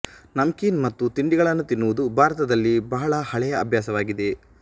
ನಮ್ಕೀನ್ ಮತ್ತು ತಿಂಡಿಗಳನ್ನು ತಿನ್ನುವುದು ಭಾರತದಲ್ಲಿ ಬಹಳ ಹಳೆಯ ಅಭ್ಯಾಸವಾಗಿದೆ